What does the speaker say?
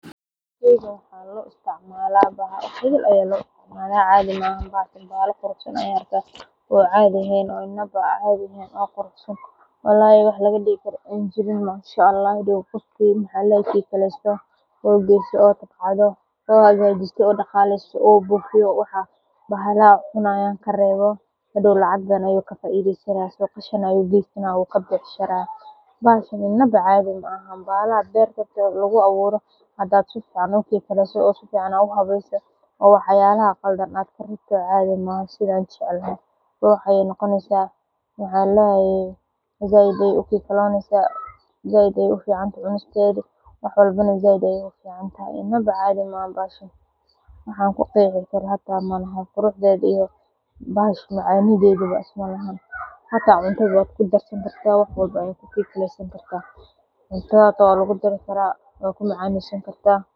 Tan wax badan aya lo isticmala bahala qurux san ayan ariki haya walahi wax laga dihi karo magaranayo in aa daqaleso oo bufiso bahalaha cunayin karwo lacag badan aya kafaideysa, said ayey u fican tahay cunisteeda, bahashan iyo macanidhedawa isma laha hata cuntaada hata waa lagu dari karaa sas waye.